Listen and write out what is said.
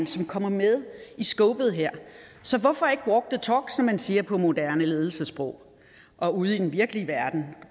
som kommer med i scopet her så hvorfor ikke walk the talk som man siger på moderne ledelsessprog og ude i den virkelige verden